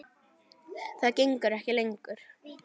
Það gengur ekki lengur.